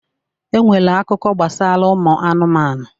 E nwere akụkọ gbasara ụmụ anụmanụ